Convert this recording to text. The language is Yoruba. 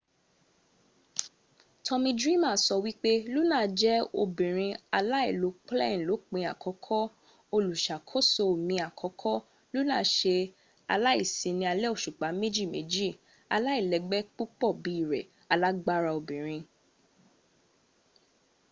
tommy dreamer sọ wípé luna jẹ ọbabìnrin alailopláìlópin àkọ́kọ́. olùṣàkóso mi àkọ́kọ́. luna ṣe aláìsíní alé òṣùpá mejiméjì. aláìlẹ́gbé púpò bí rẹ. alágbára obìnrin .